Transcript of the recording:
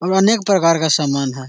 और अनेक प्रकार का सामान है |